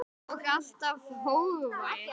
Og alltaf hógvær.